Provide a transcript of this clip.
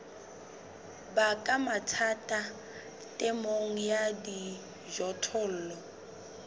baka mathata temong ya dijothollo